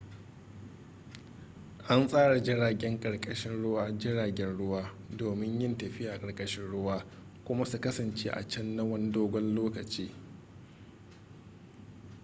an tsara jiragen ƙarkashin ruwa jiragen ruwa domin yin tafiya a ƙarkashin ruwa kuma su kasance a can na wani dogon lokaci